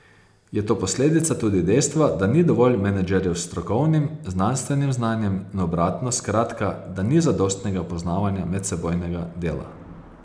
Je to posledica tudi dejstva, da ni dovolj menedžerjev s strokovnim, znanstvenim znanjem, in obratno, skratka, da ni zadostnega poznavanja medsebojnega dela.